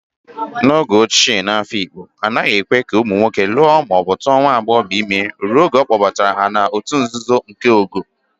N'oge ochie n'Afikpo, a naghị ekwe ka ụmụ nwoke lụọ ma ọ bụ tuo nwa agbọghọ ime ruo mgbe a kpọbatara ha n'òtù nzuzo nke ogo.